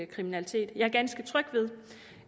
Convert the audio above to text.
kriminalitet jeg er ganske tryg ved